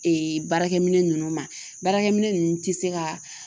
Ee baarakɛminɛn nunnu ma baarakɛminɛ nunnu te se ka